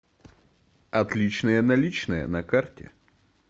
отличные наличные на карте